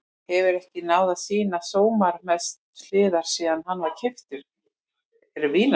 Hefur ekki náð að sýna sínar bestu hliðar síðan hann var keyptur til Vínar.